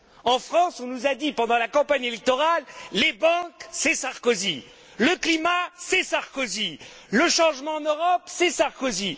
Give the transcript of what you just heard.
En France, on nous a dit, pendant la campagne électorale, les banques, c'est Sarkozy, le climat, c'est Sarkozy, le changement en Europe, c'est Sarkozy.